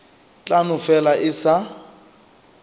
tla no fela e sa